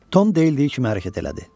Tom deyildiyi kimi hərəkət elədi.